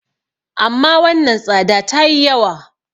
amma wannan tsada ta yi yawa